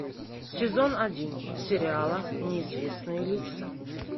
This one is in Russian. сезон один сериала неизвестные лица